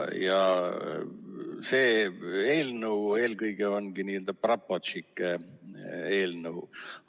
See eelnõu eelkõige ongi n‑ö praporštšike eelnõu.